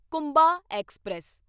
Kumbha express